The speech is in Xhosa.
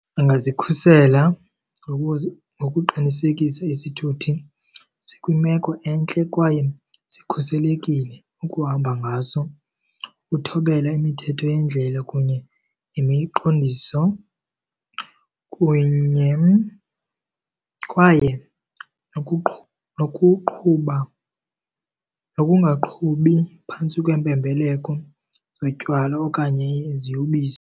Angazikhusela ngokuqinisekisa isithuthi sikwimeko entle kwaye sikhuselekile ukuhamba ngaso. Uthobele imithetho yendlela kunye nemiqondiso kunye, kwaye nokuqhuba nokungaqhubi phantsi kweempembeleko zotywala okanye iziyobisi.